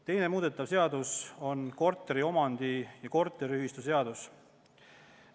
Teine muudetav seadus on korteriomandi- ja korteriühistuseadus.